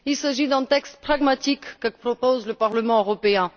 C'est un texte pragmatique que propose le Parlement européen.